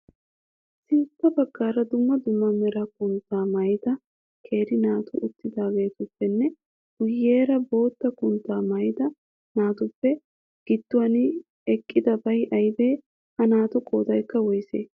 Sintta baggaara dumma dumma mera kuta maayda keeri naatu uttidaageetuppenne guyyeera bootta kutaa maayida naatuppe gidduwan eqqidabay ayiibee? Ha naatu qoodayikka woyisee?